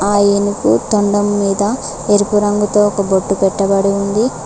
ఆ ఏనుగు తొండం మీద ఎరుపు రంగుతో ఒక బొట్టు పెట్టబడి ఉంది.